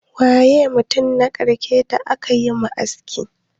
Waye mutum na karshe da aka yi ma aski?